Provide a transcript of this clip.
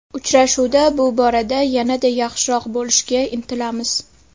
Uchrashuvda bu borada yanada yaxshiroq bo‘lishga intilamiz.